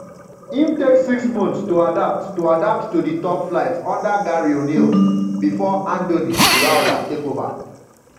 im take six months to adapt to adapt to di top flight under gary o'neil bifor andoni iraola take ova.